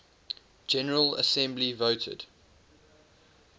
general assembly voted